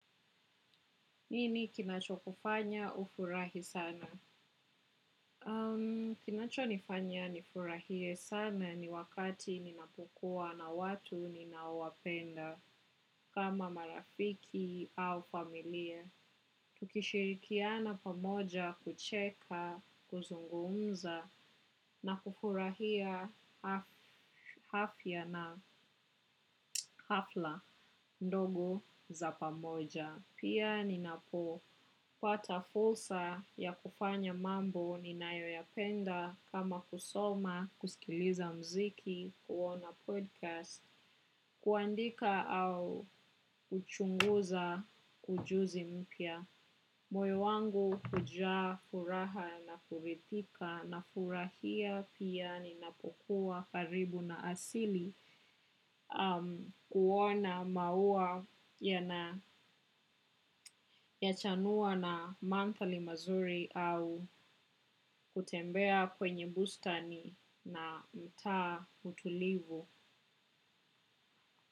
Nini kinacho kufanya ufurahi sana? Kinacho nifanya nifurahie sana ni wakati ninapokuwa na watu ninaowapenda kama marafiki au familia. Tukishirikiana pamoja kucheka, kuzungumza na kufurahia afya na hafla ndogo za pamoja. Pia ninapo pata fursa ya kufanya mambo ninayo ya penda kama kusoma, kusikiliza mziki, kuona podkast, kuandika au kuchunguza ujuzi mpya. Moyo wangu hujaa furaha na kuridhika nafurahia pia ninapokuwa karibu na asili kuona maua yana yachanua na mandhari mazuri au kutembea kwenye bustani na mtaa utulivu.